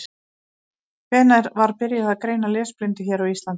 Hvenær var byrjað að greina lesblindu hér á Íslandi?